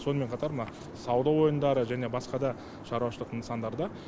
сонымен қатар мына сауда орындары және басқа да шаруашылық нысандарда